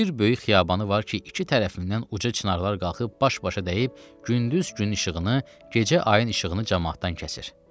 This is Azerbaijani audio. Bir böyük xiyabanı var ki, iki tərəfindən uca çinarlar qalxıb baş-başa dəyib, gündüz gün işığını, gecə ayın işığını camaatdan kəsir.